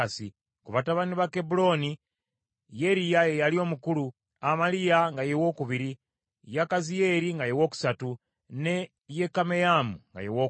Ku batabani ba Kebbulooni, Yeriya ye yali omukulu, Amaliya nga ye wookubiri, Yakaziyeri nga ye wookusatu, ne Yekameyamu nga ye wookuna.